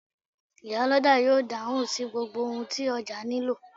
Iyálọ́jà yóò dáhùn sí gbogbo ohun tí ọjà nílò.